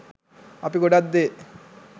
අපි ගොඩක් දේ